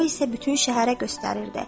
O isə bütün şəhərə göstərirdi.